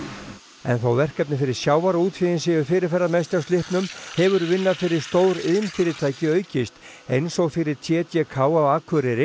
en þó verkefni fyrir sjávarútveginn séu fyrirferðarmest hjá slippnum hefur vinna fyrir stór iðnfyrirtæki aukist eins og fyrir t d k á Akureyri